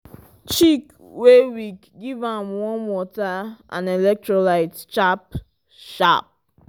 chick wey weak give am warm water and electrolyte sharp-sharp.